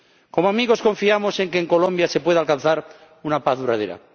Como amigos, confiamos en que en Colombia se pueda alcanzar una paz duradera.